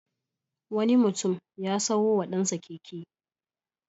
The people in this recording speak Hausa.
Wani mutum ya sayo wa ɗansa keke.